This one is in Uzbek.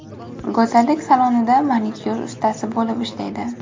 Go‘zallik salonida manikyur ustasi bo‘lib ishlaydi.